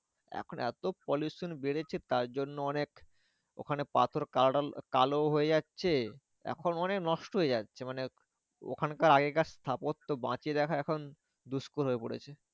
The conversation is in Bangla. এখন এতো pollution বেড়েছে তার জন্য অনেক ওখানে পাথর কালো হয়ে যাচ্ছে। এখন অনেক নষ্ট হয়ে যাচ্ছে মানে ওখানকার আগেকার স্থাপত্য বাঁচিয়ে রাখার এখন দুস্কর হয়ে পড়েছে।